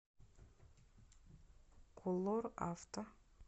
колор авто